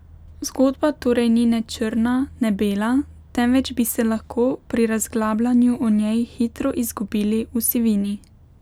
Zgodba torej ni ne črna ne bela, temveč bi se lahko pri razglabljanju o njej hitro izgubili v sivini.